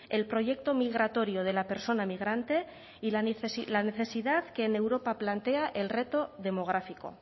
el proyecto migratorio de la persona migrante y la necesidad que en europa plantea el reto demográfico